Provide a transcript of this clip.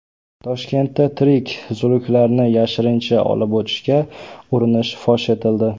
Toshkentda tirik zuluklarni yashirincha olib o‘tishga urinish fosh etildi.